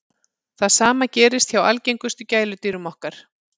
það sama gerist hjá algengustu gæludýrum okkar